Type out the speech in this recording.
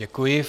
Děkuji.